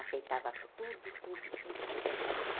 Aceitava tudo, tudo, tudo que eu fazia.